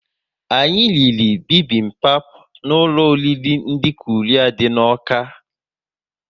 Anyị riri bibimbap n'ụlọ oriri ndị Korea dị n'Awka